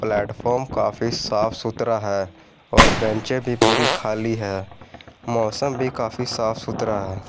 Platform काफी साफ-सुथरा है और बेचें भी पूरी खाली हैं मौसम भी काफी साफ-सुथरा है।